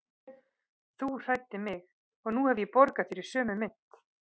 Þú hræddir mig og nú hef ég borgað þér í sömu mynt.